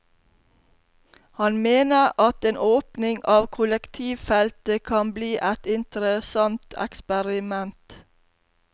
Han mener at en åpning av kollektivfeltet kan bli et interessant eksperiment.